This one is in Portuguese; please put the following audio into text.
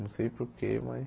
Não sei porquê, mas...